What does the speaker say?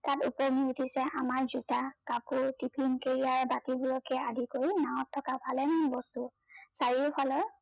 তাত উপঙি উঠিছে আমাৰ জোতা, কাপোৰ, টিফিন কেৰিয়াৰ বাকী বোৰকে আদি কৰি নাওত থকা ভালেমান বস্তু চাৰিওফালে